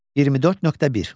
24.1.